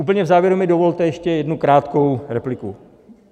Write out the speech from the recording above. Úplně v závěru mi dovolte ještě jednu krátkou repliku.